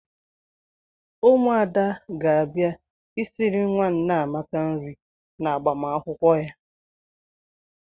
Ụmụada ga-abịa esiri nwa Nneamaka nri n'agbamakwụkwọ ya.